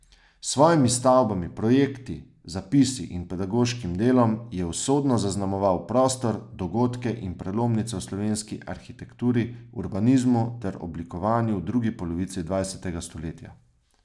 S svojimi stavbami, projekti, zapisi in pedagoškim delom je usodno zaznamoval prostor, dogodke in prelomnice v slovenski arhitekturi, urbanizmu ter oblikovanju v drugi polovici dvajsetega stoletja.